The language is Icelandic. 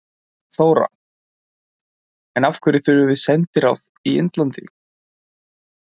Þóra: En af hverju þurfum við sendiráð í Indlandi?